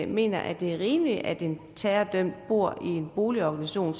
mener at det er rimeligt at en terrordømt bor i en boligorganisation